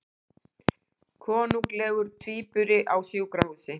Konunglegur tvíburi á sjúkrahúsi